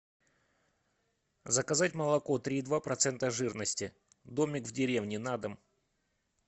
заказать молоко три и два процента жирности домик в деревне на дом